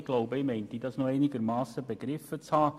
Ich meine, ich hätte das noch einigermassen begriffen.